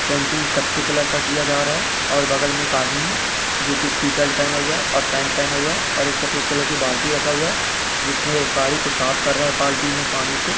painting कथई colour का किया जा रहा है और बगल में एक आदमी है जो की टीशर्ट पहेना हुए है पेंट पहना हुए है और एक सफ़ेद कलर की बाल्टी रखा हुए है जिसमे वो गाड़ी को साफ कर रहा है बाल्टी में पानी से|